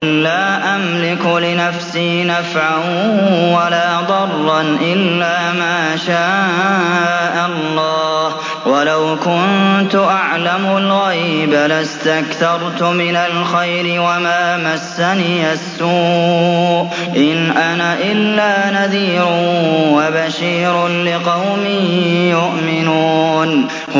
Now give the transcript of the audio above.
قُل لَّا أَمْلِكُ لِنَفْسِي نَفْعًا وَلَا ضَرًّا إِلَّا مَا شَاءَ اللَّهُ ۚ وَلَوْ كُنتُ أَعْلَمُ الْغَيْبَ لَاسْتَكْثَرْتُ مِنَ الْخَيْرِ وَمَا مَسَّنِيَ السُّوءُ ۚ إِنْ أَنَا إِلَّا نَذِيرٌ وَبَشِيرٌ لِّقَوْمٍ يُؤْمِنُونَ